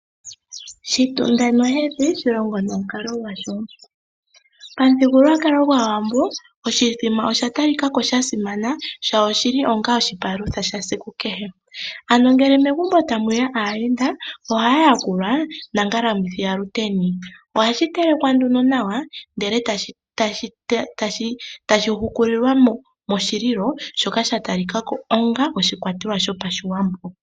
Shitunda nohedhi, shilongo nomukalo gwasho. Pamuthigululwakalo gwAawambo, oshithima osha talika ko sha simana sho oshi li onga oshipalutha shesiku kehe. Ano ngele megumbo mwe ya aayenda ohaya yakulwa nongalamwithi yaShiteni. Ohashi telekwa nduno nawa, ndele tashi hukulilwa pelilo ndyoka lya talika ko onga oshikwatelwa shoPashiwambo.